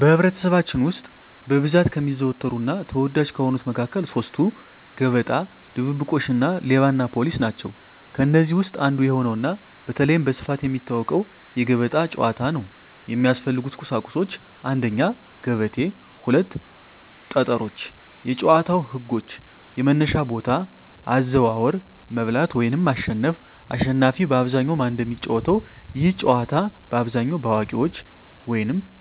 በኅብረተሰባችን ውስጥ በብዛት ከሚዘወተሩና ተወዳጅ ከሆኑት መካከል ሦስቱ፤ ገበጣ፣ ድብብቆሽ እና ሌባና ፖሊስ ናቸው። ከእነዚህ ውስጥ አንዱ የሆነውና በተለይም በስፋት የሚታወቀው የገበጣ ጨዋታ ነው። የሚያስፈልጉ ቁሳቁሶች 1; ገበቴ 2; ጠጠሮች የጨዋታው ህጎች - የመነሻ ቦታ፣ አዘዋወር፣ መብላት (ማሸነፍ)፣አሽናፊ በአብዛኛው ማን እንደሚጫወተው፤ ይህ ጨዋታ በአብዛኛው በአዋቂዎች